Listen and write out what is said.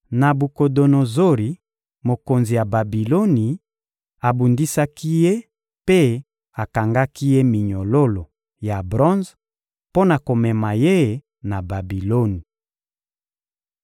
Nabukodonozori, mokonzi ya Babiloni, abundisaki ye mpe akangaki ye minyololo ya bronze mpo na komema ye na Babiloni.